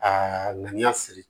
Aa ŋaniya siri